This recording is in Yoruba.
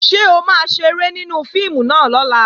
Ṣé o máa ṣeré nínú fíìmù náà lọ́la?